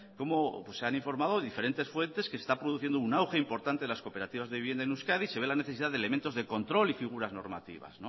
cómo se han informado diferentes fuentes de que se está produciendo un auge importante de las cooperativas de vivienda en euskadi se ve la necesidad de elementos de control y figuras normativas